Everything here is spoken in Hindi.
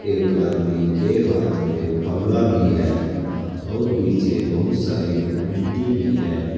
एक आदमी के हाथ में फावला भी है और पीछे बहुत सारे मिट्टी भी है।